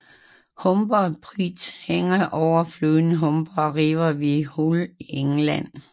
Humber Bridge hænger over floden Humber River ved Hull i England